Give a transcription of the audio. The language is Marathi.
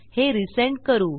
हे रिझेंड करू